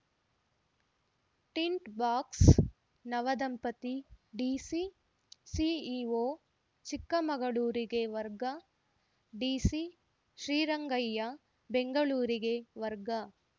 tint box ನವದಂಪತಿ DC CEO ಚಿಕ್ಕಮಗಳೂರಿಗೆ ವರ್ಗ ಡಿಸಿ ಶ್ರೀರಂಗಯ್ಯ ಬೆಂಗಳೂರಿಗೆ ವರ್ಗ